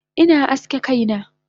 Ina aske kaina